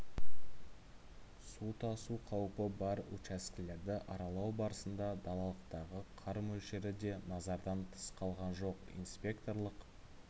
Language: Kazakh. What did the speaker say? су тасу қаупі бар учаскелерді аралау барысында далалықтағы қар мөлшері де назардан тыс қалған жоқ инспекторлық